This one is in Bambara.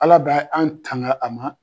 Ala bɛ an tanga a ma